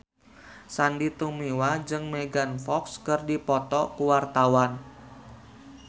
Sandy Tumiwa jeung Megan Fox keur dipoto ku wartawan